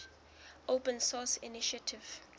open source initiative